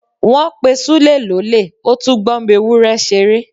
Wọ́n pè Súlè lólè ó tún gbọmọ ewúrẹ́ ṣeré.